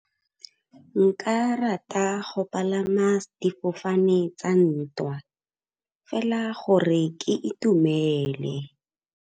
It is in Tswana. Nka rata go palama difofane tsa ntwa fela gore ke itumele.